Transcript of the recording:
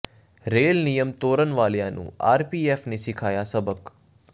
rail ਨਿਯਮ ਤੋੜਨ ਵਾਲਿਆਂ ਨੂੰ ਆਰਪੀਐਫ ਨੇ ਸਿਖਾਇਆ ਸਬਕ